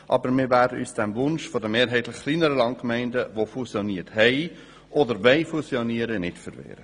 Aber wir werden uns dem Wunsch der mehrheitlich kleineren Landgemeinden, die fusioniert haben oder fusionieren wollen, nicht verwehren.